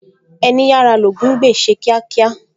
Ẹní yára l'Ògún ń gbè, ṣe kíákíá!